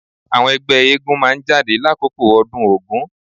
Àwọn ẹgbẹ́ eégún máa jáde lákòókò ọdún Ògún.